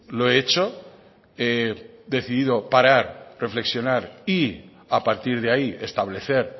lo he hecho he decidido parar reflexionar y a partir de ahí establecer